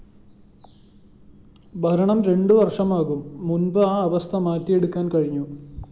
ഭരണം രണ്ടു വര്‍ഷമാകും മുന്‍പ് ആ അവസ്ഥ മാറ്റിയെടുക്കാന്‍ കഴിഞ്ഞു